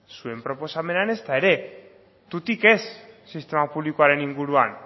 zuen proposamenean ezta ere tutik ez sistema publikoaren inguruan